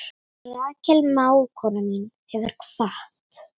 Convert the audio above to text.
Rakel mágkona mín hefur kvatt.